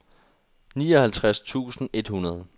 nioghalvtreds tusind et hundrede